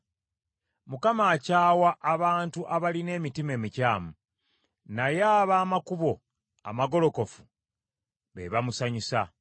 Mukama akyawa abantu abalina emitima emikyamu, naye ab’amakubo amagolokofu be bamusanyusa.